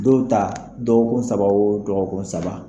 Don ta dɔgɔkun saba o dɔgɔkun saba